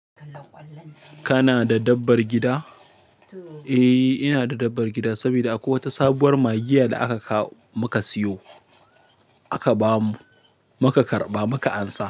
Kana da dabbar gida? Eh, ina da dabbar gida saboda akwai wata sabuwar magiya da aka kawo-muka siyo. Aka ba mu, muka karɓa muka ansa.